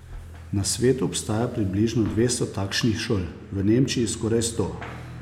Na svetu obstaja približno dvesto takšnih šol, v Nemčiji skoraj sto.